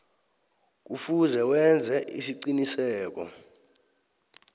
kufuze wenze isiqiniseko